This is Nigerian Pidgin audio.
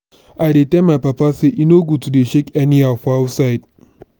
i dey tell my papa sey e no good to dey shak anyhow for outside.